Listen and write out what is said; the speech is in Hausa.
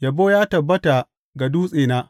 Yabo ya tabbata ga Dutsena!